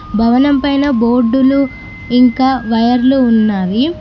భవనం పైన బోర్డులు ఇంకా వైర్లు ఉన్నవి.